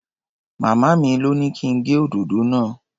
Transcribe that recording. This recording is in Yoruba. Màmá mi lọ́ ní kí n gé òdòdó náà.